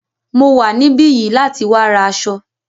Mo wà níbí yìí láti wá ra aṣọ.